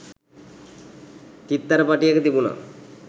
චිත්තැරපටිය තිබුනා